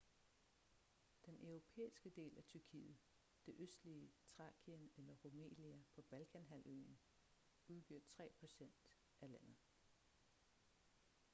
den europæiske del af tyrkiet det østlige thrakien eller rumelia på balkanhalvøen udgør 3% af landet